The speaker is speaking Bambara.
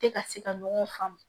Tɛ ka se ka ɲɔgɔn faamu